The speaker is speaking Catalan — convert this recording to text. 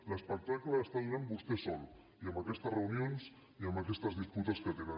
l’espectacle l’està donant vostè sol amb aquestes reunions i amb aquestes disputes que tenen